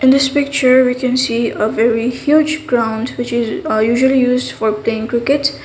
this picture we can see a very huge ground which is ah usually used for playing cricket.